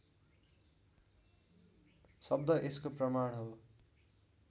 शब्द यसको प्रमाण हो